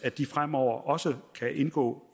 fremover også kan indgå